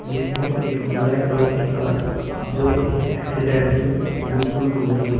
इसमें एक black colour की कार जो एक एक्सीडेंट में बिल्कुल टूट गई है।